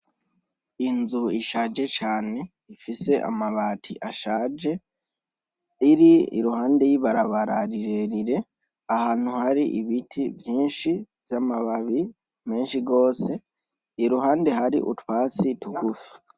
Inzu ishaje cane ifise amabati ashaje, iri iruhande y'ibarabara rirerire, ahantu hari ibiti vyinshi vy'amababi menshi gose ,iruhande hari utwatsi tugufi.